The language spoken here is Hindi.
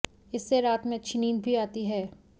इससे रात में अच्छी नींद भी आती है